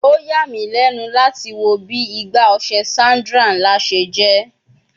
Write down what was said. O ya mi lẹnu lati wo bi Igbá ọṣẹ Sandra nla ṣe jẹ